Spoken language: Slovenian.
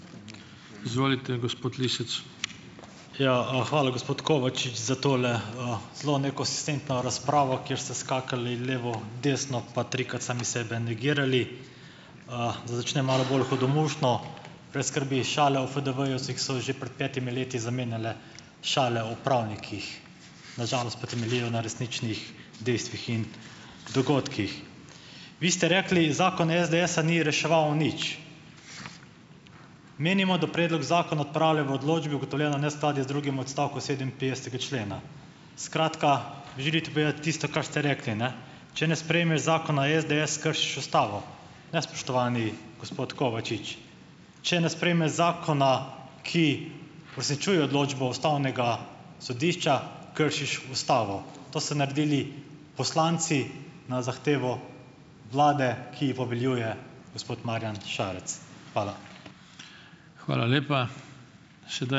Ja, hvala, gospod Kovačič, za tole, zelo nekonsistentno razpravo, kjer ste skakali levo, desno pa trikrat sami sebe negirali. Da začnem malo bolj hudomušno, brez skrbi, šale o FDV-ju so jih so že pred petimi leti zamenjale šale o pravnikih, na žalost pa temeljijo na resničnih dejstvih in dogodkih. Vi ste rekli, zakon SDS-a ni reševal nič. Menimo, da predlog zakona odpravlja v odločbi ugotovljeno neskladje z drugim odstavkom sedeminpetdesetega člena. Skratka, želite povedati tisto, kar ste rekli, ne, če ne sprejmeš zakona SDS, kršiš ustavo, ne, spoštovani gospod Kovačič. Če ne sprejmeš zakona, ki uresničuje odločbo ustavnega sodišča, kršiš ustavo - to ste naredili poslanci na zahtevo vlade, ki ji poveljuje gospod Marjan Šarec. Hvala.